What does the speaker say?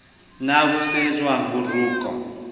na ho sehwajwang ho rokwa